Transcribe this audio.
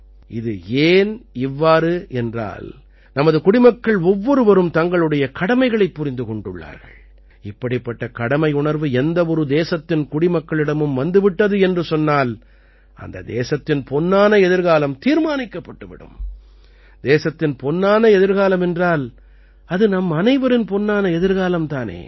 இது ஏன் இவ்வாறு என்றால் நமது குடிமக்கள் ஒவ்வொருவரும் தங்களுடைய கடமைகளைப் புரிந்து கொண்டுள்ளார்கள் இப்படிப்பட்ட கடமையுணர்வு எந்த ஒரு தேசத்தின் குடிமக்களிடமும் வந்து விட்டது என்று சொன்னால் அந்த தேசத்தின் பொன்னான எதிர்காலம் தீர்மானிக்கப்பட்டு விடும் தேசத்தின் பொன்னான எதிர்காலம் என்றால் அது நம்மனைவரின் பொன்னான எதிர்காலம் தானே